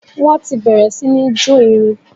Wọ́n ti bẹ̀rẹ̀ sí ní jó irin.